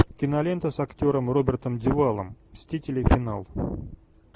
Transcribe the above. кинолента с актером робертом дюваллом мстители финал